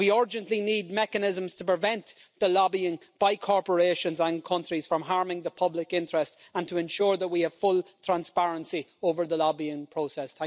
we urgently need mechanisms to prevent the lobbying by corporations and countries from harming the public interest and to ensure that we have full transparency over the lobbying process.